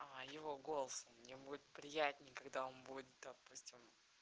а его голос мне будет приятнее когда он будет допустим